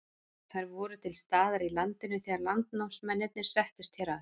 þær voru til staðar í landinu þegar landnámsmennirnir settust hér að